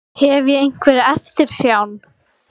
Hef ég einhverja eftirsjá?